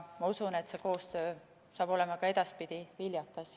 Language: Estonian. Usun, et see koostöö on ka edaspidi viljakas.